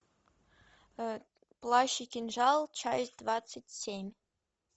плащ и кинжал часть двадцать семь